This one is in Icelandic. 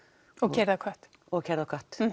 keyrði á kött og keyrði á kött